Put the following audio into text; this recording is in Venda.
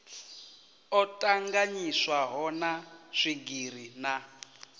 o tanganyiswaho na swigiri na